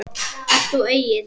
Ert þú Egill?